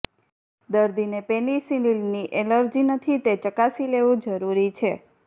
દર્દીને પેનિસિલિનની ઍલર્જી નથી તે ચકાસી લેવું જરૂરી છે